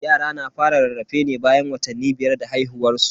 Yara na fara rarrafe ne bayan watanni biyar da haihuwan su.